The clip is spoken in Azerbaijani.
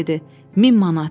Amma dedi: min manat.